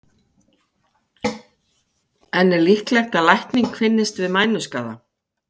En er líklegt að lækning finnist við mænuskaða?